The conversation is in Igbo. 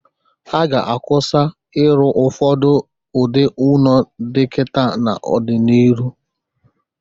A ga-akwụsa ịrụ ụfọdụ ụdị ụnọ dị kịta n'ọ dị n'iru.